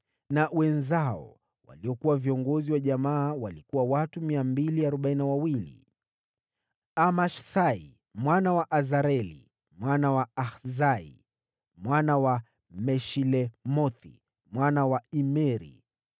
na wenzao, waliokuwa viongozi wa jamaa: watu 242. Amashisai mwana wa Azareli, mwana wa Azai, mwana wa Meshilemothi, mwana wa Imeri,